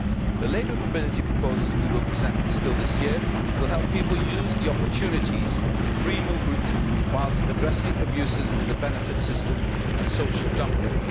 The labour mobility proposals we will present still this year will help people use the opportunities of free movement whilst addressing abuses in the benefits system and social dumping.